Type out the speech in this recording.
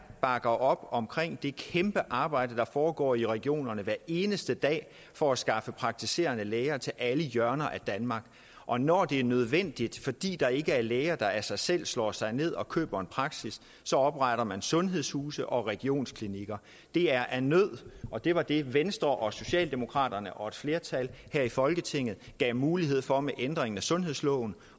bakker op omkring det kæmpe arbejde der foregår i regionerne hver eneste dag for at skaffe praktiserende læger til alle hjørner af danmark og når det er nødvendigt fordi der ikke er læger der af sig selv slår sig ned og køber en praksis så opretter man sundhedshuse og regionsklinikker det er af nød og det var det venstre og socialdemokraterne og et flertal her i folketinget gav mulighed for med ændringen af sundhedsloven